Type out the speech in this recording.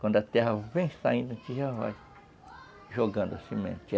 Quando a terra vem saindo, a gente já vai jogando a semente.